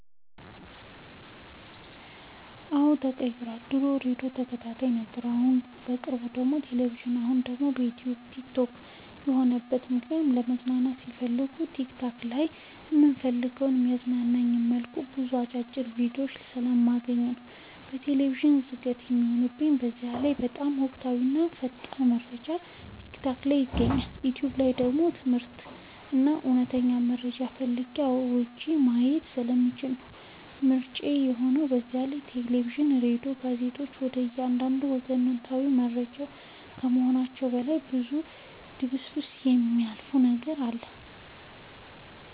አዎ ተቀይሯል ድሮ የሬዲዮ ተከታታይ ነበርኩ በቅርቡ ደግሞ የቴሌቪዥን አሁን ደግሞ ዩቲዩብ እና የቲክቶክ ይህ የሆነበት ምክንያት መዝናናት ስፈልግ ቲክታክ ላይ በምፈልገው እና በሚያዝናናኝ መልኩ ብዙ አጫጭር ቪዲዮችን ስለማገኝ ነው። ቴሌቪዥን ዝገት የሚሆንብኝ በዛላይ በጣም ወቅታዊ እና ፈጣን መረጃ ቲክታክ ላይ ይገኛል። ዩቲዩብ ደግሞ ትምርታዊም ሆኑ እውነተኛ መረጃ ፈልጌ አውርጄ ማየት ስለምችል ነው ምርጫዬ የሆነው በዛላይ የቴሌቪዥን እና የራዲዮ ጋዜጠኞች ወደ አንድ ወገናዊ ከመሆናቸውም በላይ በዙ በድብስብስ የሚያልፉት ነገር አለ።